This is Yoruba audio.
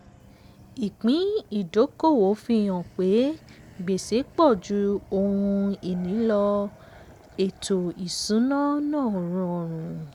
ìpín ìdókòwò fi hàn pé gbèsè pọ̀ ju ohun-ini lọ; lọ; ètò ìṣúná náà rọrùn.